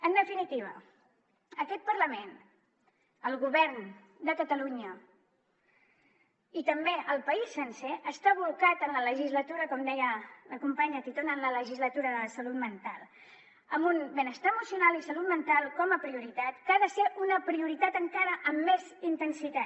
en definitiva aquest parlament el govern de catalunya i també el país sencer estan bolcats en la legislatura com deia la companya titon en la legislatura de la salut mental amb un benestar emocional i salut mental com a prioritat que ha de ser una prioritat encara amb més intensitat